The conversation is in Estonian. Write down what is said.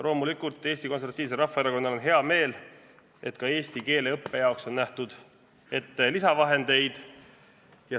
Loomulikult on Eesti Konservatiivsel Rahvaerakonnal hea meel, et ka eesti keele õppe jaoks on nähtud ette lisavahendeid.